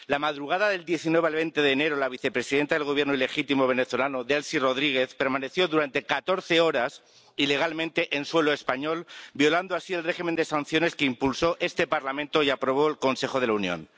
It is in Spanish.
La madrugada del 19 al 20 de enero, la vicepresidenta del Gobierno ilegítimo venezolano, Delcy Rodríguez, permaneció durante catorce horas ilegalmente en suelo español, violando así el régimen de sanciones que impulsó este Parlamento y aprobó el Consejo de la Unión.